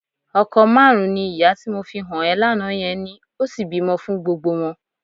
Ọkọ márùn-ún ni ìyá tí mo fi hàn ẹ́ lánàá yẹn ní, ó sì bímọ fún gbogbo wọn.